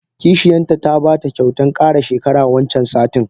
Kishiyanta ta bata kyautan kara shekara wancan satin.